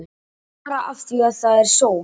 Bara af því að það er sól.